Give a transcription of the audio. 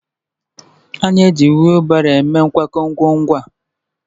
A na-eji wheelbarrow eme nkwakọ ngwaahịa.